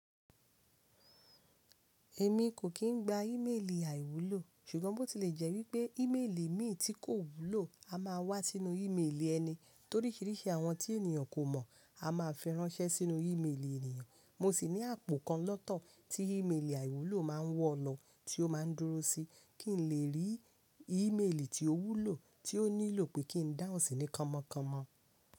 Èmi kò kín gba ímélì àìwúlò, ṣùgbọ́n bó tí lè jẹ́ wípé ímélì mi tí kò wúlò a máa wá sínú ímélì ẹni, toríṣiríṣi àwọn tí ènìyàn kò mọ̀ a máa fẹ́ ránṣẹ́ sínú ímélì ènìyàn. Mo sì ní àpò kan lọ́tọ̀ tí ímélì àìwúlò máa ń wọ lọ, tí ó máa ń dúró sí kí n lè rí ímélì tí ó wúlò tí ó nílò pé kí n dáhùn sí ní kọ̀mọ̀kọ̀mọ̀.